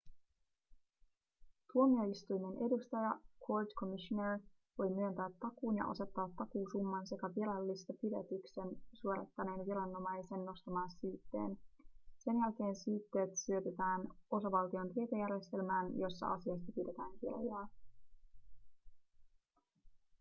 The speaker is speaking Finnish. tuomioistuimen edustaja court commissioner voi myöntää takuun ja asettaa takuusumman sekä virallistaa pidätyksen suorittaneen viranomaisen nostaman syytteen. sen jälkeen syytteet syötetään osavaltion tietojärjestelmään jossa asiasta pidetään kirjaa